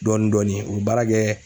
Dɔɔni-dɔɔni, u bi baara kɛ